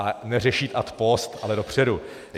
A neřešit ad post, ale dopředu.